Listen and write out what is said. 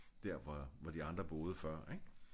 Der hvor hvor de andre boede før ik